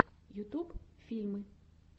ютуб фильмы